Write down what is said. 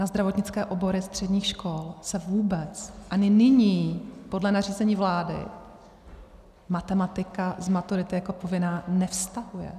Na zdravotnické obory středních škol se vůbec ani nyní podle nařízení vlády matematika z maturity jako povinná nevztahuje.